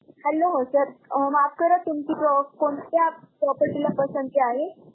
Hello sir माफ करा, तुमची कोणत्या property ला पसंती आहे?